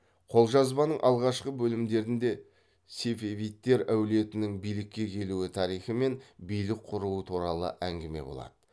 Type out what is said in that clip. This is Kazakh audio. қолжазбаның алғашқы бөлімдерінде сефевидтер әулетінің билікке келу тарихы мен билік құруы туралы әңгіме болады